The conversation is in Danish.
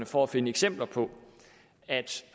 for at finde eksempler på altså